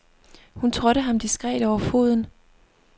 Hun trådte ham diskret over foden.